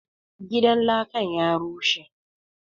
Gidan lakan ya rushe